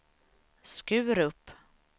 Skurup